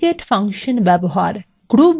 group byবাক্যাংশ ব্যবহার